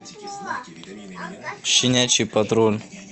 щенячий патруль